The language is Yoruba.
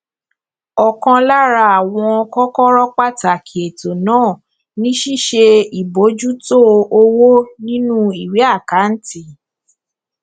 ọkan lára àwọn kọkọrọ pàtàkì ètò náà ni ṣíṣe ìbojútó owó nínú ìwé àkáǹtì